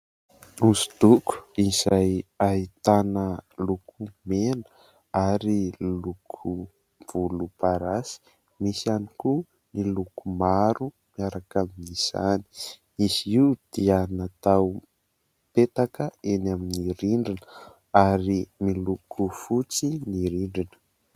Osodoko izay ahitana loko mena ary loko volomparasy, misy ihany koa ny loko maro miaraka amin'izany. Izy io dia natao petaka eny amin'ny rindrina ary miloko fotsy ny rindrina.